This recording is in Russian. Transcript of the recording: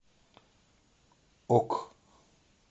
ок